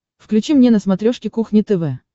включи мне на смотрешке кухня тв